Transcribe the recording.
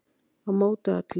Á móti öllu